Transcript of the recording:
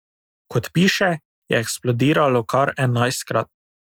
Kot piše, je eksplodiralo kar enajstkrat.